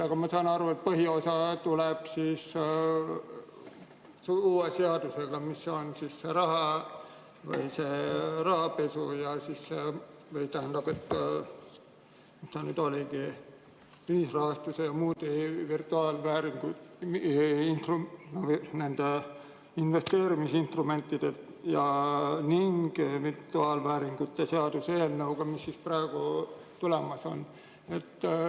Aga ma sain aru, et põhiosa tuleb siis uue seadusega, mis on rahapesu ja selle, tähendab, mis ta nüüd oligi, ühisrahastuse ja muude investeerimisinstrumentide ning virtuaalvääringute seaduse eelnõuga, mis tulemas on.